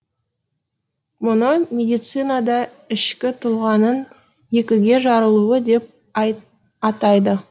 мұны медицинада ішкі тұлғаның екіге жарылуы деп атайды